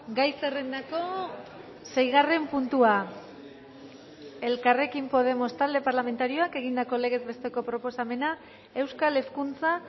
gai zerrendako seigarren puntua elkarrekin podemos talde parlamentarioak egindako legez besteko proposamena euskal hezkuntza